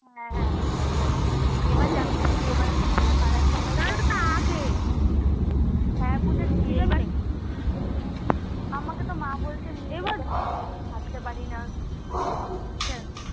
হ্যাঁ লোকনাথ মন্দির এবার যাবি নাকি এবারতো মনে হয় পাড়ার সবার আমাকে তো মা বলছে থাকতে পারিনা